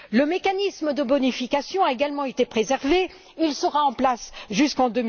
Le mécanisme de bonification a également été préservé et sera en place jusqu'en